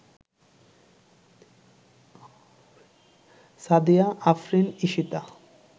Sadia Afrin Ishita